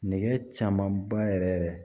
Nɛgɛ camanba yɛrɛ yɛrɛ